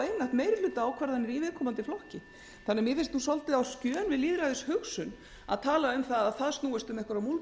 meirihlutaákvarðanir í viðkomandi flokki mér finnst því svolítið á skjön við lýðræðishugsun að tala um að það snúist um einhverjar múlbindingar